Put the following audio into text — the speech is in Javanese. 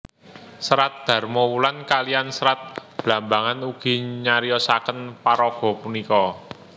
Serat Damarwulan kaliyan Serat Blambangan ugi nyariosaken paraga punika